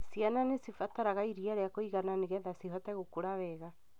Ciana nĩcibataraga iria rĩa kũigana nĩgethe cihote gũkũra wega.